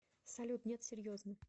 салют нет серьезно